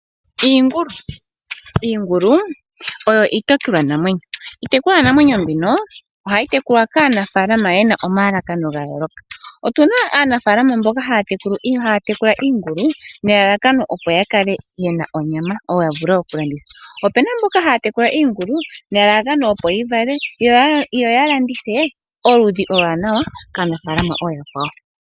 Iingulu, iingulu oyo iitekulwanamwenyo, iitekulwanamwenyo mbino ohayi tekulwa kaanafaalama yena omalalakano gayooloka, otuna aanafaalama mboka haya tekula iingulu nelalakano opo yakale yena onyama nenge yavule okulanditha. Opena mboka haya tekula iingulu nelalakano opo yivale yo yalandithe oludhi olwaanawa kaanafaalama ooyakwawo.